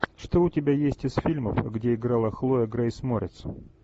что у тебя есть из фильмов где играла хлоя грейс морец